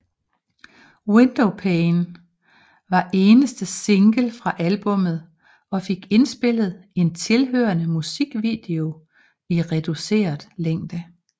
Windowpane var eneste single fra albummet og fik indspillet en tilhørende musikvideo i reduceret længde